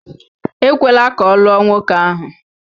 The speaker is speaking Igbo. Ekwela ka ọ lụọ nwoke ahụ.